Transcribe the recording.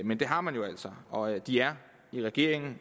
men det har man altså og de er i regeringen